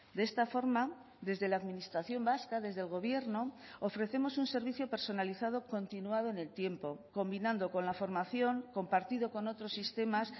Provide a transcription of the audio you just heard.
de esta forma desde la administración vasca desde el gobierno ofrecemos un servicio personalizado continuado en el tiempo combinando con la formación compartido con otros sistemas